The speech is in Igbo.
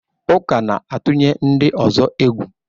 Uka na-atụnye ndị ọzọ egwu.